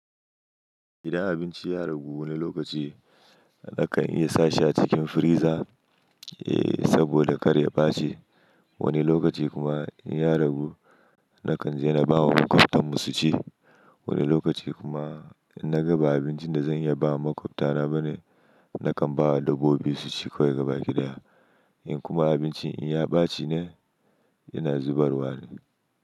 Idan abinci ya ragu wani lokaci nakan iya sa shi cikin friza, eh saboda karya ɓaci. Wani lokaci kuma in ya ragu nakan je na bawa makwabtan mu su ci. Wani lokaci kuma in na ga ba abincin da zan iya bawa makwabtana bane, nakan bawa dabbobi su ci kawai gaba gida. In kuma abincin in ya ɓaci ne, ina zubarwa ne.